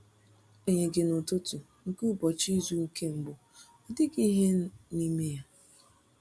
Agbanyeghị, n’ụtụtụ nke ụbọchị izu nke mbụ, ọ dịghị ihe n’ime ya.